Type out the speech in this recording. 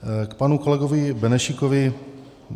K panu kolegovi Benešíkovi.